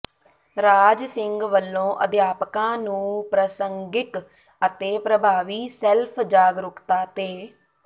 ਰਾਜ ਸਿੰਘ ਵਲੋਂ ਅਧਿਆਪਕਾਂ ਨੰੂ ਪ੍ਰਸੰਗਿਕ ਅਤੇ ਪ੍ਰਭਾਵੀ ਸੈੱਲਫ਼ ਜਾਗਰੂਕਤਾ ਤੇ